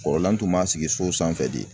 Kɔrɔlan tun b'a sigi so sanfɛ de.